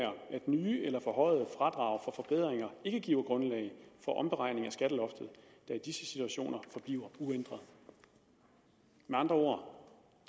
nye eller forhøjede fradrag for forbedringer ikke giver grundlag for omberegning af skatteloftet der i disse situationer forbliver uændret med andre ord